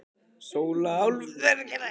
Sóla hálfu merkilegri kona en áður, sagði ég.